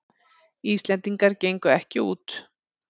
Íslendingar gengu ekki út